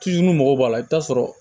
mɔgɔw b'a la i t'a sɔrɔ